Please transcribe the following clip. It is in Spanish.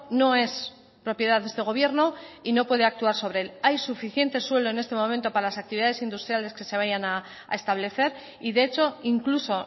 no es propiedad de este gobierno y no puede actuar sobre él hay suficiente suelo en este momento para las actividades industriales que se vayan a establecer y de hecho incluso